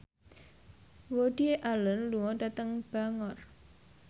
Woody Allen lunga dhateng Bangor